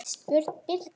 Björn Birnir.